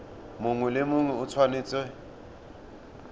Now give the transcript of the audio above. mongwe le mongwe o tshwanetse